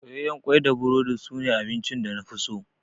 Soyayyen kwai da burodi su ne abincin da nafi so